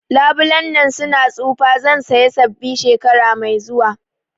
Labulen nan su na tsufa, zan saya sabbi shekara mai zuwa